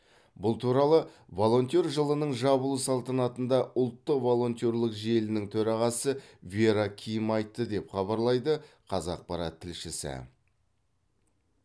бұл туралы волонтер жылының жабылу салтанатында ұлттық волонтерлік желінің төрағасы вера ким айтты деп хабарлайды қазақпарат тілшісі